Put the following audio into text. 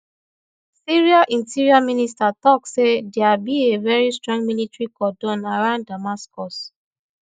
syria interior minister tok say dia be a very strong military cordon around damascus